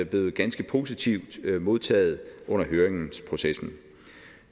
blevet ganske positivt modtaget under høringsprocessen